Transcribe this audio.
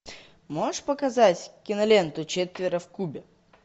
можешь показать киноленту четверо в кубе